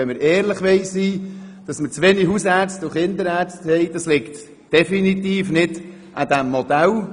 Aber wenn wir ehrlich sein wollen, kann dieses Modell den Mangel an Haus- und Kinderärzten nicht beheben.